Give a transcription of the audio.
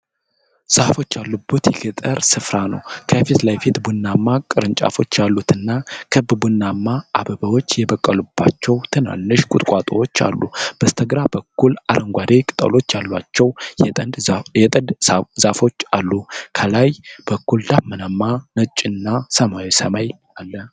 ዛፎች ያሉበት የገጠር ስፍራ ነው። ከፊት ለፊት ቡናማ ቅርንጫፎች ያሉትና ክብ ቡናማ አበባዎች የበቀሉባቸው ትናንሽ ቁጥቋጦዎች አሉ። በስተግራ በኩል አረንጓዴ ቅጠሎች ያሏቸው የጥድ ዛፎች አሉ። ከላይ በኩል ደመናማ ነጭና ሰማያዊ ሰማይ አለ።